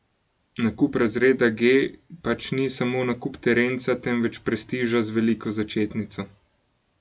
Nakup razreda G pač ni samo nakup terenca, temveč prestiža z veliko začetnico.